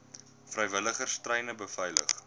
vrywilligers treine beveilig